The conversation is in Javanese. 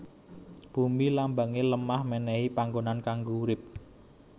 Bumi Lambange lemah menehi panggonan kanggo urip